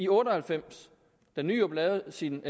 otte og halvfems da nyrup lavede sin